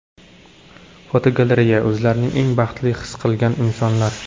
Fotogalereya: O‘zlarini eng baxtli his qilgan insonlar.